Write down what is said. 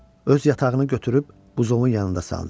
Öz yatağını götürüb buzovun yanında saldı.